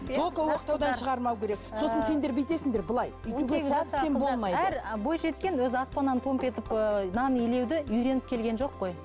бойжеткен өзі аспаннан томп етіп ііі нан илеуді үйреніп келген жоқ қой